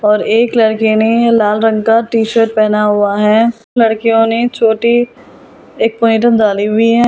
पर एक लड़के ने लाल रंग का टी-शर्ट पहना हुआ है लड़कियों ने छोटी एक डाली हुई हैं।